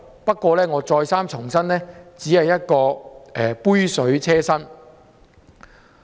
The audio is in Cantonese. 不過，我再三重申這只是杯水車薪。